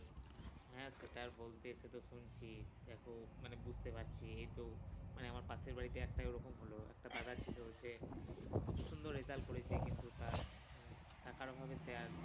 হ্যাঁ সেটা আর বলতে সে তো শুনছি দেখো মানে বুঝতে পারছি এইত মানে আমার পাশের বাড়িতে এরম একটা হল একটা দাদা ছিল যে খুব সুন্দর result করেছে কিন্তু তার মানে টাকার অভাবে সে আর